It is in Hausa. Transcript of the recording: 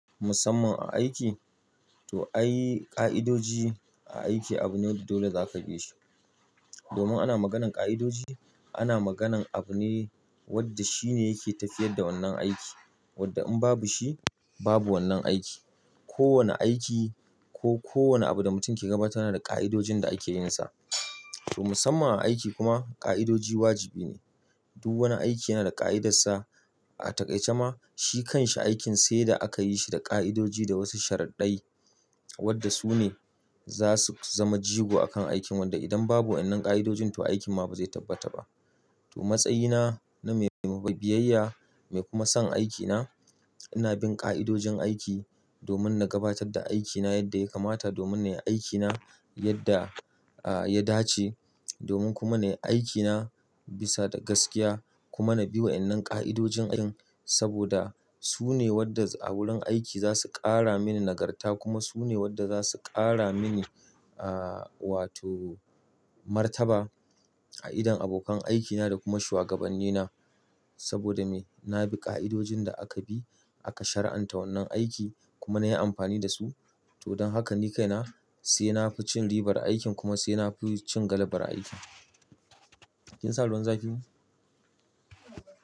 Musamman a aiki, to ai ƙa'idoji a aiki abune wanda dole zaka bishi. Domin ana maganar ƙa'idoji, ana maganar abune wanda shine yake tafiyar da wannan aiki wanda in babu shi babu wannan aiki. Ko wane aiki ko kowane abu da mutum ke gabatarwa yana da ƙa'idojin da ake yin sa. To musamman a aiki kuma ƙa'idoji wajibi ne. Duk wani aiki yana da ƙa'idarsa. A takaice ma shi kan shi aikin sai da aka yi shi da ƙa'idoji da wasu sharaɗɗai wanda su ne za su zama jigo a kan aikin wanda idan babu wannan ƙa'idojin to aikin ma ba zai tabbata ba. To matsayina na mai biyayya mai kuma son aikina ina bin ƙa'idojin aiki domin na gabatar da aikina yadda ya kamata domin na yi aikina yadda, ah, ya dace. Domin kuma na yi aikina bisa da gaskiya kuma na bi wa'yannan ƙa'idojin aikin saboda su ne wadda a wurin aiki za su ƙara mini nagarta kuma su ne wadda za su ƙara mini, ah, wato martaba a idon abokan aikina da kuma shuwagabannina. Saboda me? Na bi ƙa'idojin da aka bi aka shar'anta wannan aiki kuma na yi amfani da su. To don haka ni kaina sai na fi cin ribar aikin kuma sai na fi cin galabar aikin. Kin sa ruwan zafi?